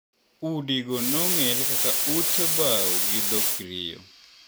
udigo nong`ere kaka ute bao gi dho Krio.